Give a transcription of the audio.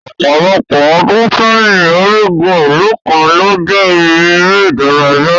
Ọpọlọpọ ọ́dùn seyin, origun ilu nikan lo jẹ ibi ere idaraya